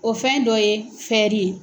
O fɛn dɔ ye